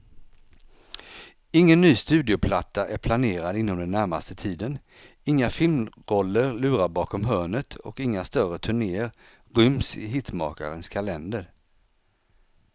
Ingen ny studioplatta är planerad inom den närmaste tiden, inga filmroller lurar bakom hörnet och inga större turnéer ryms i hitmakarens kalender.